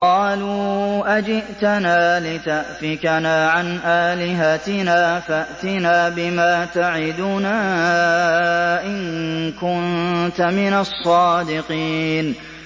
قَالُوا أَجِئْتَنَا لِتَأْفِكَنَا عَنْ آلِهَتِنَا فَأْتِنَا بِمَا تَعِدُنَا إِن كُنتَ مِنَ الصَّادِقِينَ